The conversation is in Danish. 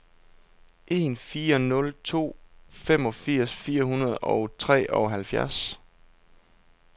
en fire nul to femogfirs fire hundrede og treoghalvfjerds